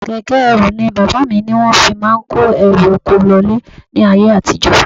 Keke ẹrù ni bàbá mi ní wọ́n fi máa ń kó ẹrù oko lọ ilé ní ayé àtijó.